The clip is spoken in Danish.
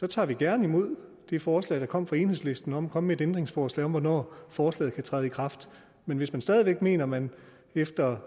tager vi gerne imod det forslag der kom fra enhedslisten om komme med ændringsforslag om hvornår forslaget kan træde i kraft men hvis man stadig væk mener at man efter